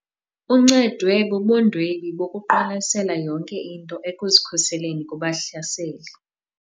Uncedwe bubundwebi bokuqwalasela yonke into ekuzikhuseleni kubahlaseli.